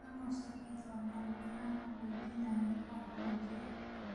Mango sorbet waa macmacaan qaboojinaya oo qaboojiya.